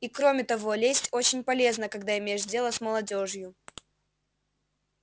и кроме того лесть очень полезна когда имеешь дело с молодёжью